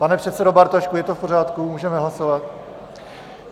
Pane předsedo Bartošku, je to v pořádku, můžeme hlasovat?